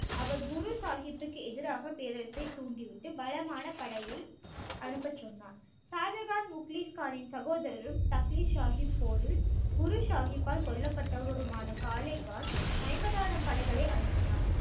அவர் குரு சாஹிப்புக்கு எதிராக பேரரசை தூண்டிவிட்டு பலமான படையை அனுப்பச் சொன்னார் ஷாஜகான் முக்லிஷ் கானின் சகோதரரும் தக்ளி சாஹிப் போரில் குரு சாஹிப்பால் கொல்லப்பட்டவருமான காலே கான் ஐம்பதாயிரம் படைகளை அனுப்பினார்